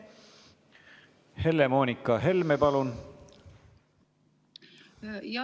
Helle-Moonika Helme, palun!